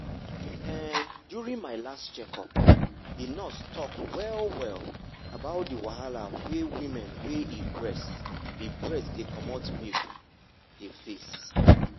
um during my last checkup the nurse talk well well about the wahala wey woman wey e breast e breast dey comot milk dey face.